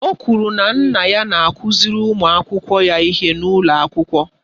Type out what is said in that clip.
Ọ kwụrụ na nne ya na-akụziri ụmụ akwụkwọ ya ihe n'ụlọ akwụkwọ.